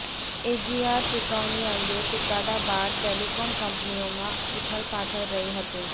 AGR ચુકવણી અંગે ચુકાદા બાદ ટેલિકોમ કંપનીઓમાં ઉથલપાથલ રહી હતી